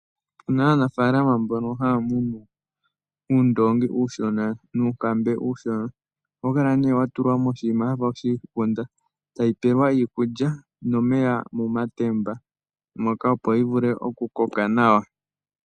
Opuna aanafaalama mboka haya munu uundoongi uushona nuunkambe uushona. Ohawu kala nduno wa tullwa moshinima shafa oshigunda , tawu pewa iikulya nomeya mo matemba opo wuvule oku koka nawa.